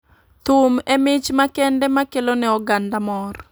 Thum e mich makende makelo ne oganda mor